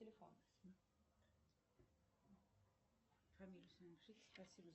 джой сайт майами бич